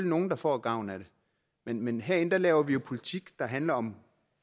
nogle der får gavn af det men men herinde laver vi jo politik der handler om